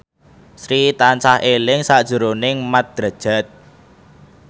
Sri tansah eling sakjroning Mat Drajat